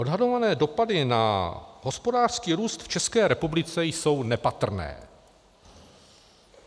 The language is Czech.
Odhadované dopady na hospodářský růst v České republice jsou nepatrné.